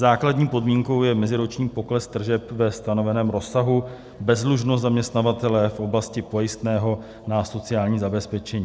Základní podmínkou je meziroční pokles tržeb ve stanoveném rozsahu, bezdlužnost zaměstnavatele v oblasti pojistného na sociální zabezpečení.